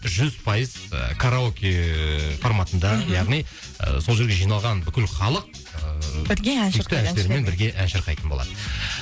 жүз пайыз ы караоке форматында мхм яғни ы сол жерге жиналған бүкіл халық ыыы бірге ән шырқай бірге ән шырқайтын болады